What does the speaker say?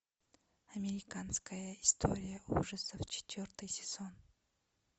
американская история ужасов четвертый сезон